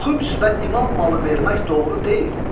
Xüms və imam malı vermək doğru deyil.